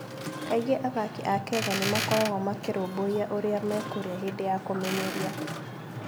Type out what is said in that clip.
Kaingĩ athaki a Kenya nĩ makoragwo makĩrũmbũiya ũrĩa mekũrĩa hĩndĩ ya kũmenyeria.